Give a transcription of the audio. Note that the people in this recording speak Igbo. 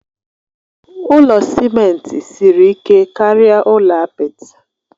Ụlọ simenti siri ike karịa ụlọ apịtị